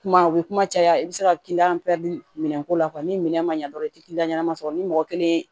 Kuma u bɛ kuma caya i bɛ se ka kiliyan minɛn ko la ni minɛ ma ɲɛ dɔrɔn i tɛ ɲanama sɔrɔ ni mɔgɔ kelen